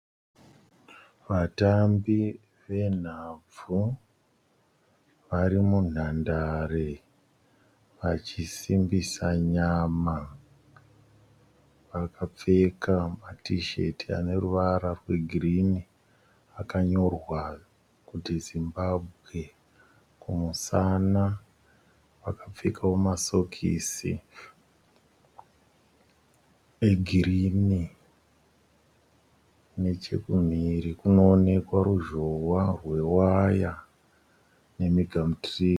Vatambi venhabvu vari munhandare vachisimbisa nyama. Vakapfeka matisheti ane ruvara rwegirini akanyorwa kuti Zimbabwe kumusana. Vakapfekawo masokisi egirini. Nechekumhiri kunoonekwa ruzhowa rwewaya nemigamutiri.